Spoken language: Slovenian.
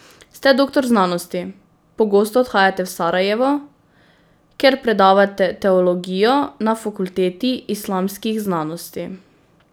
Ste doktor znanosti, pogosto odhajate v Sarajevo, kjer predavate teologijo na Fakulteti islamskih znanosti.